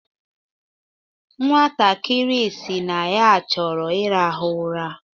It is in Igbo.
Nwatakiri sịrị na ya chọrọ ịrahụ ụra.